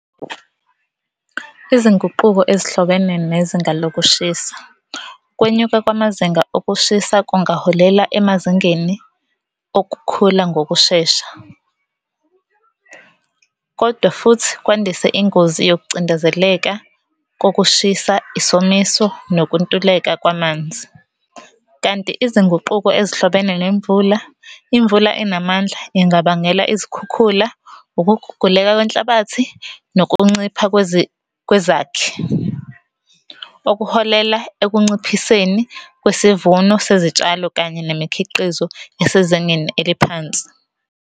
Izinguquko ezihlobene nezinga lokushisa kwenyuka kwamazinga okushisa kungaholela emazingeni okukhula ngokushesha. Kodwa futhi kwandise ingozi yokucindezeleka kokushisa, isomiso, nokuntuleka kwamanzi. Kanti izinguquko ezihlobene nemvula, imvula enamandla ingabangela izikhukhula, ukuguguleka kwenhlabathi, nokuncipha kwezakhi okuholela ekunciphiseni kwesivuno sezitshalo kanye nemikhiqizo esezingeni eliphansi.